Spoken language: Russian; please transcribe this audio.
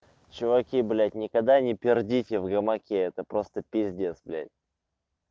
чуваки блять никогда не пердите в гамаке это просто пиздец блять